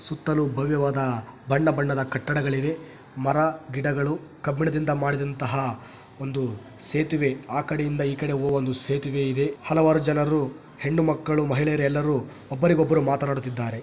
ಸುತ್ತಲು ಭವ್ಯವಾದ ಬಣ್ಣ ಬಣ್ಣದ ಕಟ್ಟಡಗಳಿವೆ ಮರ ಗಿಡಗಳು ಕಬ್ಬಿಣದಿಂದ ಮಾಡಿದಂತಹ ಒಂದು ಸೇತುವೆ ಆ ಕಡೆಯಿಂದ ಈ ಕಡೆ ಹೋಗುವ ಒಂದು ಸೇತುವೆ ಇದೆ ಹಲವಾರು ಜನರು ಹೆಣ್ಣು ಮಕ್ಕಳು ಮಹಿಳೆಯರು ಎಲ್ಲರೂ ಒಬ್ಬರಿಗೊಬ್ಬರು ಮಾತನಾಡುತ್ತಿದ್ದಾರೆ.